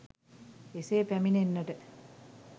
එසේ පැමිණෙන්නට